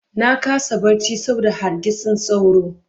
Na kasa barci saboda hargitsin sauro.